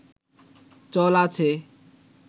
চল আছে